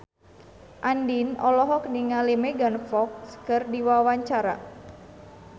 Andien olohok ningali Megan Fox keur diwawancara